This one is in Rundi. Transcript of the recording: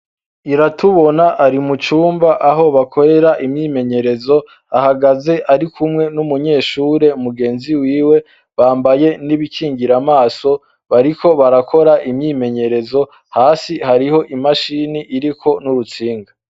Iratubona ari mucumba aho bakorera imyimenyerezo, ahagaze ari kumwe n'umunyeshure mugenzi wiwe, bambaye n'ibikingira amaso, bariko barakora imyimenyerezo, hasi hariho imashini iriko n'urutsinga.